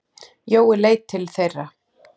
Jói leit til þeirra.